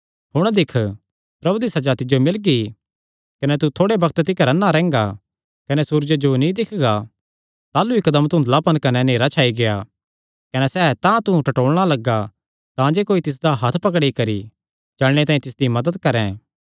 हुण दिक्ख प्रभु दी सज़ा तिज्जो मिलगी कने तू थोड़े बग्त तिकर अन्ना रैंह्गा कने सूरजे जो नीं दिक्खगा ताह़लू इकदम धुंधलापन कने नेहरा छाई गेआ कने सैह़ तांतुंह टटोलना लग्गा तांजे कोई तिसदा हत्थ पकड़ी करी चलणे तांई तिसदी मदत करैं